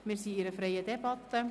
Wir führen eine freie Debatte.